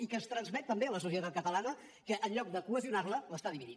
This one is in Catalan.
i que es transmet també a la societat catalana que en lloc de cohesionar la la divideix